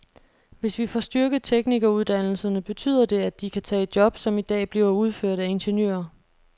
Hvis vi får styrket teknikeruddannelserne, betyder det, at de kan tage job, som i dag bliver udført af ingeniører.